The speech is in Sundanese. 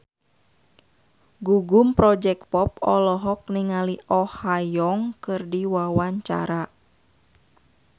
Gugum Project Pop olohok ningali Oh Ha Young keur diwawancara